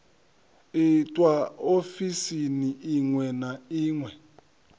itwa ofisini iṅwe na iṅwe